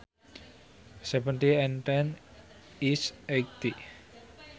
Seventy and ten is eighty